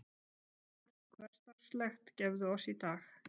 Brauð vort hversdagslegt gefðu oss í dag.